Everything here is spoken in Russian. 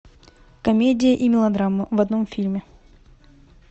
комедия и мелодрама в одном фильме